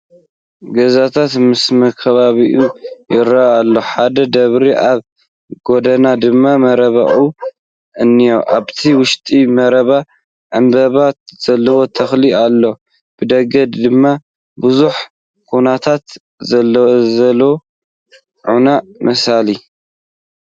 ገዛታት ምስመካበቢዩኡ ይረኣይ ኣሎ ሓደ ደብሪን ኣብ ጎድኑ ድማ መረባዕ እንሄ ኣብቲ ውሽጢ መረባ ዕምበባ ዘለዎ ተኽሊ ኣሎ፡ ብደገ ድማ ብዙሕ ዃናታት ስለዘሎ ዑና መሲሉ ።